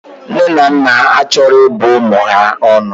Nne na naa achoro ibu umu ya onu.